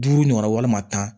Duuru ɲɔgɔnna walima tan